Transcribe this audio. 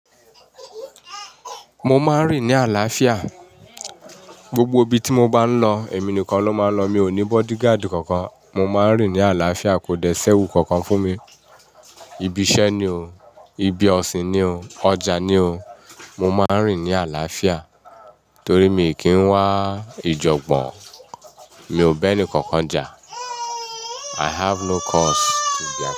Mo máa ń rìn ní àlàáfíà. Gbogbo ibi tí mo bá ń lọ, èmi nìkan ló máa ń lọ. Mi ò ní bodyguard kankan. Mo máa ń rìn ní àlàáfíà. Kò dẹ́ si ewú kankan fún mi. Ibi iṣẹ́ ni o. Ibi ọ̀sìn ni o. Ọjà ni o. Mo máa ń rìn ní àlàáfíà torí mi kì í wá ìjọ̀gbọ̀n. Mi ò nbá ẹni kankan jà. I have no cause to be afraid.